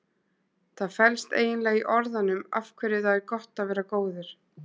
Það felst eiginlega í orðunum af hverju það er gott að vera góður.